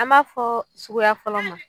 An m'a fɔ sugu fɔlɔ ma